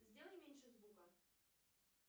сделай меньше звука